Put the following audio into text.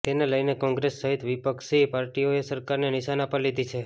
તેને લઈને કોંગ્રેસ સહિત વિપક્ષી પાર્ટીઓએ સરકારને નિશાના પર લીધી છે